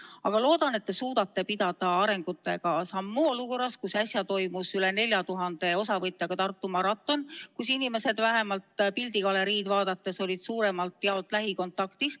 Aga ma loodan, et te suudate arengutega sammu pidada ka olukorras, kus äsja toimus üle 4000 osavõtjaga Tartu maraton, kus inimesed vähemalt pildigalerii järgi otsustades olid suuremalt jaolt lähikontaktis.